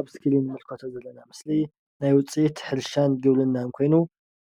ኣብ እስክሪን እንምልከቶ ዘለና ምስሊ ናይ ውፅአት ሕርሻን ግብርናን ኮይኑ